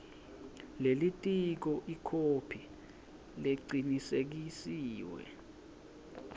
lelitiko ikhophi lecinisekisiwe